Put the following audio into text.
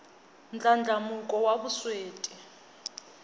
ndlandlamuko wa vusweti